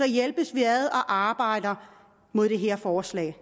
hjælpes vi ad og arbejder mod det her forslag